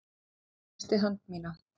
Hún kreistir hönd mína.